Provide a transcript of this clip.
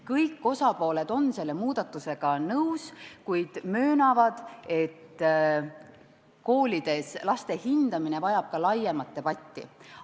Kõik osapooled on selle muudatusega nõus, kuid möönavad, et koolides laste hindamine vajab laiemat debatti.